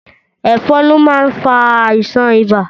Ẹ̀fan lo máa ń fà àìsàn ibà